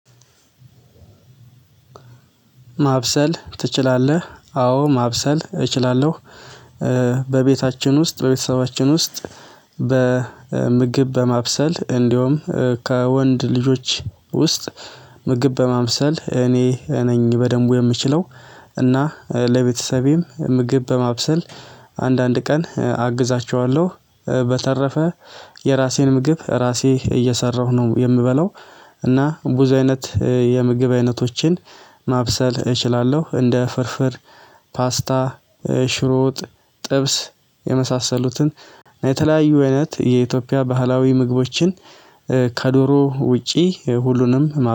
ማብሰል ትችላለህ? አዎ ማብሰል እችላለሁ። በቤታችን ውስጥ በቤተሰባችን ውስጥ በምግብ በማብሰል እንዲሁም ከወንድ ልጆች ውስጥ ምግብ በማምሰል እኔ ነኝ በደንቡ የምችለው። እና ለቤተሰቤም ምግብ በማብሰል አንዳንድ ቀን አግዛቸዋለሁ። በተረፈ የራሴን ምግብ ራሴ እየሰራሁ ነው የምበለው። እና ብዙ አይነት የምግብ አይነቶችን ማብሰል እችላለሁ። እንደ ፍርፍር፤ ፓስታ ሽሮ ወጥ፣ ጥብስ የመሳሰሉትን የተለያዩ አይነት የኢትዮጵያ ባህላዊ ምግቦችን። ከዶሮ ውጪ ሁሉንም